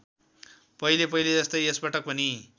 पहिलेपहिले जस्तै यसपटक पनि